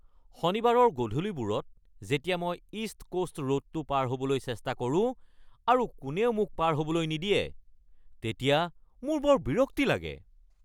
শনিবাৰৰ গধূলিবোৰত যেতিয়া মই ইষ্ট কোষ্ট ৰোডটো পাৰ হ’বলৈ চেষ্টা কৰো আৰু কোনেও মোক পাৰ হ’বলৈ নিদিয়ে তেতিয়া মোৰ বৰ বিৰক্তি লাগে।